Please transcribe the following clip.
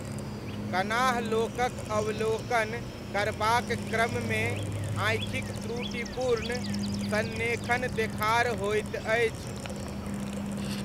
कनाह लोकक अवलोकन करबाक क्रममे आँखिक त्रुटिपूर्ण सन्रेखण देखार होइत अछि।